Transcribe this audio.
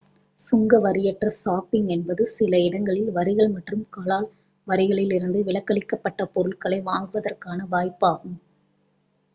சுங்கவரியற்ற shopping என்பது சில இடங்களில் வரிகள் மற்றும் கலால் வரிகளிலிருந்து விலக்களிக்கப்பட்ட பொருட்களை வாங்குவதற்கான வாய்ப்பாகும்